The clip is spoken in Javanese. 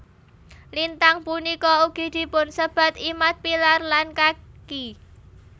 Lintang punika ugi dipunsebat Imad pillar lan Kaki